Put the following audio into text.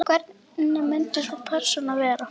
Hvernig myndi sú persóna vera?